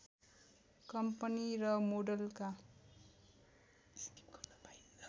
company र मोडलका